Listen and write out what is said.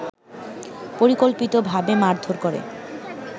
পরিকল্পিতভাবে মারধোর করে